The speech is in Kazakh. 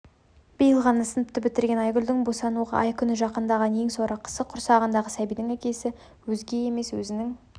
биыл ғана сыныпты бітірген айгүлдің босануға ай-күні жақын ең сорақысы құрсағындағы сәбидің әкесі өзге емес өзінің